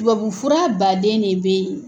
Tubabufura baden ne bɛ ye.